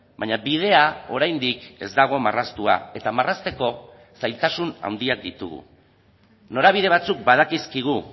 baina bidea oraindik ez dago marraztua eta marrazteko zailtasun handiak ditugu norabide batzuk badakizkigu